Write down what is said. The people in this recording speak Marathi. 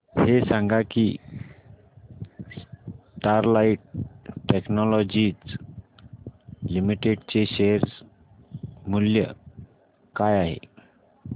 हे सांगा की स्टरलाइट टेक्नोलॉजीज लिमिटेड चे शेअर मूल्य काय आहे